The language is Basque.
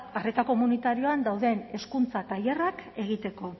arreta komunitarioan dauden hezkuntza tailerrak egiteko